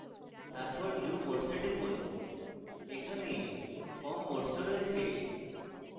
তারপর view modes এ টিপুন এখানে form modes ও রয়েছে